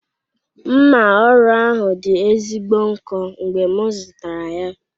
Mma ọrụ ahụ dị ezigbo nkọ mgbe m zụtara ya.